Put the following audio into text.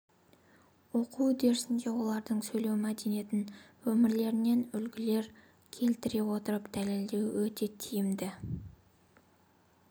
оқу үдерісінде олардың сөйлеу мәдениетін өмірлерінен үлгілер келтіре отырып дәлелдеу өте тиімді